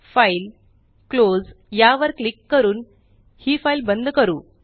file GT GT close यावर click करून हि फ़ाइल बंद करू